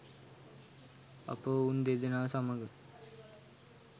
අප ඔවුන් දෙදෙනා සමග